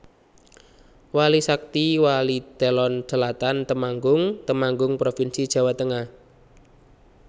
Wali Sakti Walitelon Selatan Temanggung Temanggung provinsi Jawa Tengah